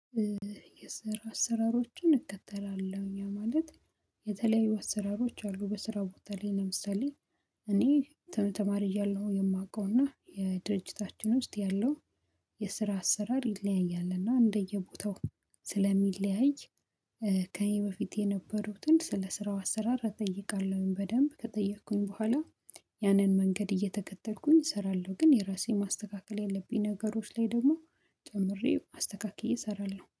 የስራ አሰራሮችን እከተላለሁ እኛ ማለት የተለያዩ አሰራሮች አሉ በስራ ቦታ ላይ። ለምሳሌ እኔ ተማሪ እያለሁ የማውቀው እና የድርጅታችን ውስጥ ያለው የስራ አሰራር ይለያያል። እና እንደየቦታው ስለሚለያይ ከእኔ በፊት የነበሩትን ስለ ስራው አሰራር እጠይቃለሁኝ በደንብ ከጠየኩኝ በኋላ ያንን መንገድ እየተከተልኩኝ እሰራለሁ። ግን የራሴ ማስተካከል ያለብኝ ነገሮች ላይ ደግሞ ጨምሬ አስተካክዬ እሰራለሁ